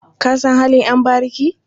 Ka san halin ƴan bariki?